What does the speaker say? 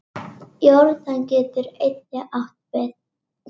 Þið vaskið upp í kvöld